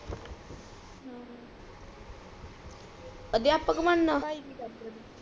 ਅਧਿਆਪਕ ਬਣਨਾ ਭਾਈ ਕਿ ਕਰਦਾ ਤੇਰਾ